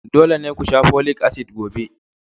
Dole ne ku sha folic acid gobe!